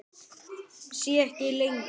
Sé ekki lengur.